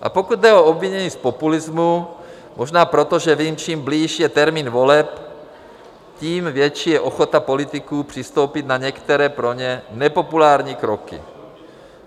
A pokud jde o obvinění z populismu, možná proto, že vím, čím blíž je termín voleb, tím větší je ochota politiků přistoupit na některé, pro ně nepopulární kroky.